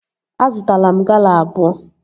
Azụtara m Gala abụọ